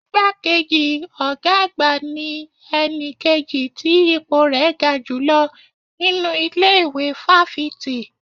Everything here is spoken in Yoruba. Igbá kejì ọ̀gá àgbà ní ẹni kejì tí ipò rẹ̀ ga jùlọ nínú ilé ìwé fáfitì